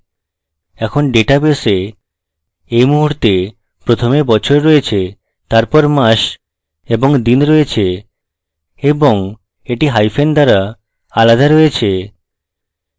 এখন ডাটাবেসে এই মুহূর্তে প্রথমে বছর রয়েছে তারপর মাস এবং দিন রয়েছে এবং এটি hyphens দ্বারা আলাদা রয়েছে